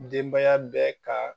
Denbaya bɛɛ ka